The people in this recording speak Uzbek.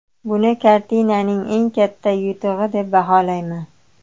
Buni kartinaning eng katta yutug‘i deb baholayman.